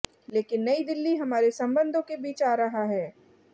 लेकिन नई दिल्ली हमारे संबंधों के बीच आ रहा है